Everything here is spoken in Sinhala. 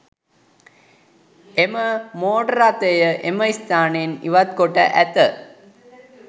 එම මෝටර් රථය එම ස්ථානයෙන් ඉවත්කොට ඇත